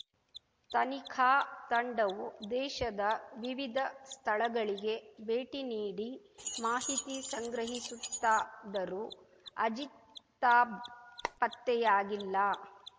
ತನಿಖಾ ತಂಡವು ದೇಶದ ವಿವಿಧ ಸ್ಥಳಗಳಿಗೆ ಭೇಟಿ ನೀಡಿ ಮಾಹಿತಿ ಸಂಗ್ರಹಿಸುತ್ತಾದರೂ ಅಜಿತಾಬ್‌ ಪತ್ತೆಯಾಗಿಲ್ಲ